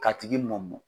K'a tigi mɔmɔn